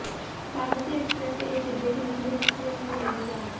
Bagmati express के एक डिब्बे के निचले हिस्से में लगी आग